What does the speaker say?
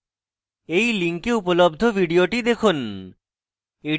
এই link উপলব্ধ video দেখুন